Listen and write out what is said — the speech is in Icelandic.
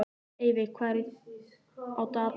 Eyveig, hvað er á dagatalinu í dag?